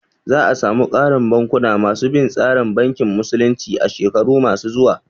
Za a samu ƙarin bankuna ma su bin tsarin bankin musulunci a shekaru ma su zuwa